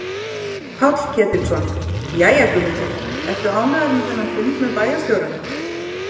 Páll Ketilsson: Jæja Guðmundur, ertu ánægður með þennan fund með bæjarstjóranum?